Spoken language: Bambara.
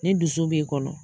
Ni dusu b'i kɔnɔ